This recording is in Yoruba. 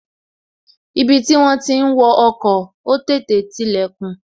Ibi tí wón ti ń wo ọkọ̀, ó tètè tilè kùn